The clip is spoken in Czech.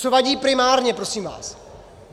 Co vadí primárně, prosím vás?